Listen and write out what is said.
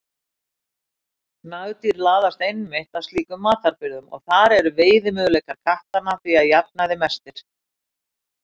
Nagdýr laðast einmitt að slíkum matarbirgðum og þar eru veiðimöguleikar kattanna því að jafnaði mestir.